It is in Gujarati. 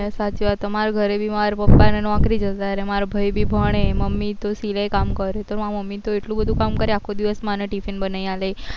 હા સાચી વાત છે મારે ઘરે બી માર પાપા ને નોકરી જતા રે માર ભાઈ બી ભણે મમી તો સિલાઈ કામ કરે તો માર મમી તો એટલું બધું કામ કરે આખો દિવસ મને ટીફીન બનાવી આપે